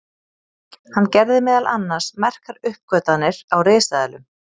hann gerði meðal annars merkar uppgötvanir á risaeðlum